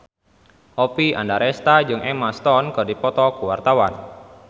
Oppie Andaresta jeung Emma Stone keur dipoto ku wartawan